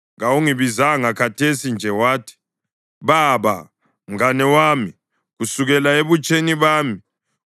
Kawungibizanga khathesi nje wathi, ‘Baba, mngane wami kusukela ebutsheni bami,